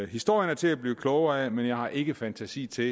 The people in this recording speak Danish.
historien er til at blive klogere af men jeg har ikke fantasi til